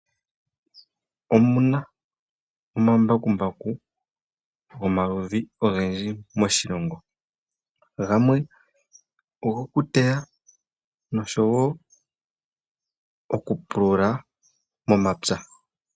Omuna omambakumbaku gomaludhi ogendji moshilongo. Gamwe ogokuteya nosho wo okupulula momapya.